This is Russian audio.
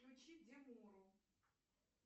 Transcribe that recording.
включи демуру